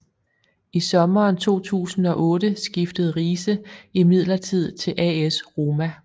I sommeren 2008 skiftede Riise imidlertid til AS Roma